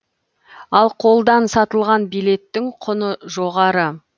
ал қолдан сатылған билеттің құны жоғары